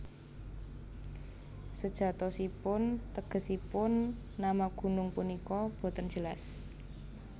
Sejatosipun tegesipun nama gunung punika boten jelas